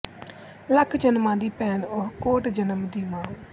ਲਖ ਜਨਮਾਂ ਦੀ ਭੈਣ ਉਹ ਕੋਟ ਜਨਮ ਦੀ ਮਾਂ